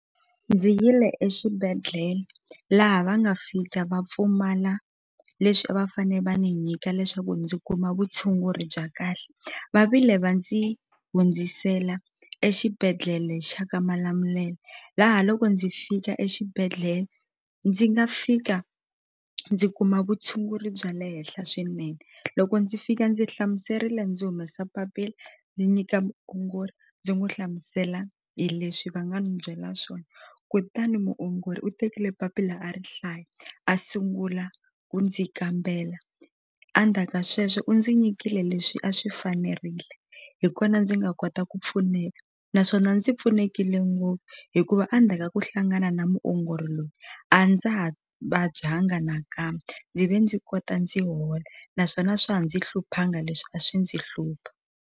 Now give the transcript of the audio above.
Ndzi yile exibedhlele laha va nga fika va pfumala leswi a va fane va ni nyika leswaku ndzi kuma vutshunguri bya kahle va vile va ndzi hundzisela exibedhlele xa ka malamulele laha loko ndzi fika exibedhlele ndzi nga fika ndzi kuma vutshunguri bya le henhla swinene loko ndzi fika ndzi hlamuserile ndzi humesa papila ndzi nyika muongori ndzi n'wu hlamusela hi leswi va nga ni byela swona kutani muongori u tekile papila a ri hlaya a sungula ku ndzi kambela a ndzhaka sweswo u ndzi nyikile leswi a swi fanerile hi kona ndzi nga kota ku pfuneka naswona ndzi pfunekile ngopfu hikuva a ndzhaka ku hlangana na muongori loyi a ndza ha vabyanga nakambe ndzi ve ndzi kota ndzi hola naswona swa ha ndzi hluphanga leswi a swi ndzi hlupha.